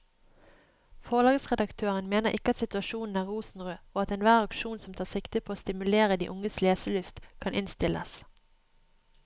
Forlagsredaktøren mener ikke at situasjonen er rosenrød og at enhver aksjon som tar sikte på å stimulere de unges leselyst, kan innstilles.